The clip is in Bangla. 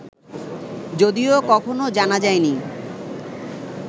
যদিও কখনও জানা যায়নি